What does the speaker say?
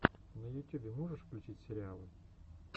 на ютюбе можешь включить сериалы